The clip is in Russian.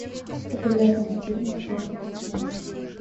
популярные фильмы про приключения